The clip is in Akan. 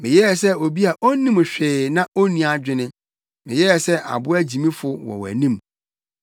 meyɛɛ sɛ obi a onnim hwee na onni adwene; meyɛɛ sɛ aboa gyimfo wɔ wʼanim.